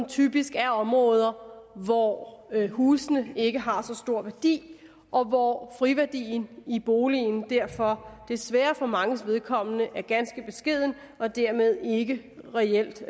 typisk er områder hvor husene ikke har så stor værdi og hvor friværdien i boligen derfor desværre for manges vedkommende er ganske beskeden og den dermed ikke reelt